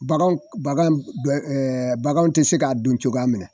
Bagan bagan bagan bɛɛ baganw ti se k'a dun cogoya min na